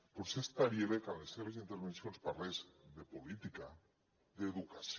potser estaria bé que en les seves intervencions parlés de política d’educació